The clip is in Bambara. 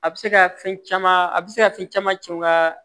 A bɛ se ka fɛn caman a bɛ se ka fɛn caman tiɲɛ n ka